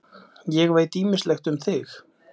Ég veit ýmislegt um þig.